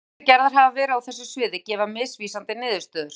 þær rannsóknir sem gerðar hafa verið á þessu sviði gefa misvísandi niðurstöður